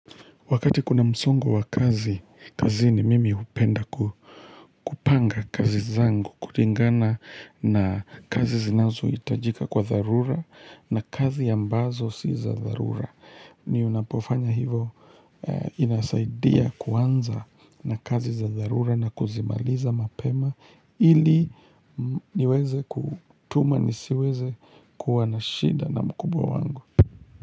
Wakati kuna msongo wa kazi, kazini mimi hupenda kupanga kazi zangu kulingana na kazi zinazo itajika kwa tharura na kazi ambazo si za tharura. Ni unapofanya hivo inasaidia kuanza na kazi za tharura na kuzimaliza mapema ili niweze kutuma nisiweze kuwa na shida na mkubwa wangu.